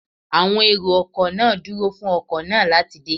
Àwọn èrò ọkọ̀ náà dúró fún ọkọ̀ náà láti dé